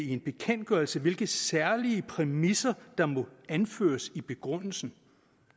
i en bekendtgørelse hvilke særlige præmisser der må anføres i begrundelsen